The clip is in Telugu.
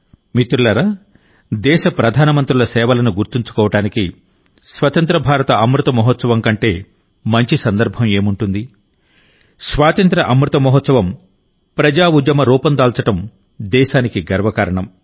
మిత్రులారా దేశ ప్రధానమంత్రుల సేవలను గుర్తుంచుకోవడానికి స్వతంత్ర భారత అమృత మహోత్సవంకంటే మంచి సందర్భం ఏముంటుంది స్వాతంత్య్ర అమృత మహోత్సవం ప్రజాఉద్యమ రూపం దాల్చడం దేశానికి గర్వకారణం